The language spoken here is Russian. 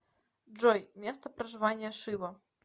джой место проживания шива